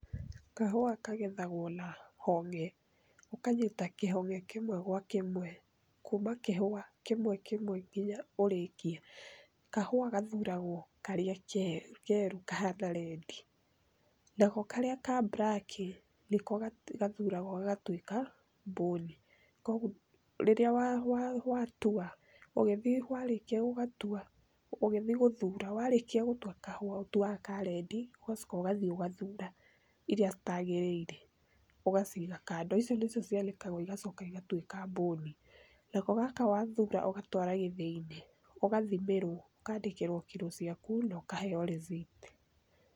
Kahũa kagethagwo na honge. Ũkanyita kĩhonge kĩmwe gwa kĩmwe, kuuma kĩhũa kĩmwe kĩmwe nginya ũrĩĩkie. Kahũa gathuuragwo karĩa keeru kahana red. Nako karĩa ka black ,nĩko gathuuragwo gagatuĩka mbũni. Koguo rĩrĩa watua, ũgĩthiĩ warĩkia gũgatua, ũgĩthiĩ gũthuura, warĩkia gũtua kahũa, ũtuaga ka red ,ũgacoka ũgathiĩ ũgathuura iria citagĩrĩire ũgaciiga kando, icio nĩcio cianĩkagwo igacoka igatuĩka mbũni. Nako gaka wathuura ũgatwara gĩthĩ-inĩ ũgathimĩrwo, ũkandĩkĩrwo kiro ciaku na ũkaheo rĩthiti.